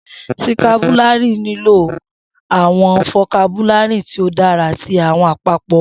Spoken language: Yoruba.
Sikirabu nilo awọn fokabulari ti o dara ati awọn apapo ọrọ